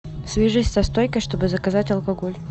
свяжись со стойкой чтобы заказать алкоголь